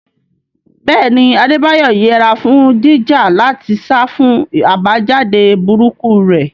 Bẹ́ẹ̀ ni, Adebayo yẹra fún jíjà láti sá fún àbájáde burúkú rẹ̀.